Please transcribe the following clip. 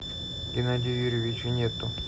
генадию юрьевичу нету